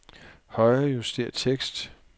Højrejuster tekst.